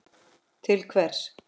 til hvers.